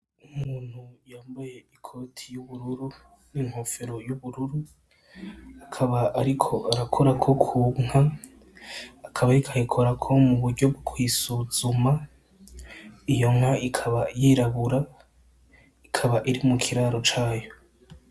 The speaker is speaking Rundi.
Umuntu yambaye ikoti y’ubururu ni inkofero y’ubururu akaba ariko arakorako ku nka, akaba ariko ayikorako mu buryo bwo kuyisuzuma, iyo nka ikaba yirabura, ikaba iri mu kiraro cayo.